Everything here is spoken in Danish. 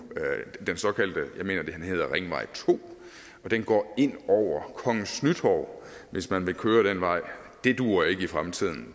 hedder ringvej to og den går ind over kongens nytorv hvis man vil køre den vej det duer ikke i fremtiden